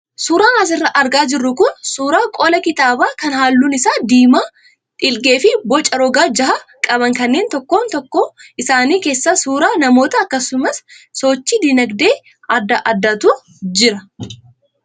Suuraan asirraa argaa jirru kun suuraa qola kitaabaa kan halluun isaa diimaa, dhiilgee fi boca roga jaha qaban kanneen tokkoon tokkoo isaanii keessa suuraa namootaa akkasumas sochii dinagdee adda addaatu jira.